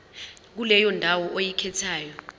kuleyo ndawo oyikhethayo